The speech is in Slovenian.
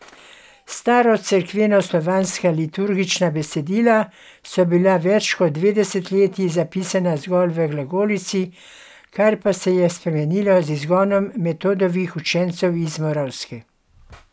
Starocerkvenoslovanska liturgična besedila so bila več kot dve desetletji zapisana zgolj v glagolici, kar pa se je spremenilo z izgonom Metodovih učencev iz Moravske.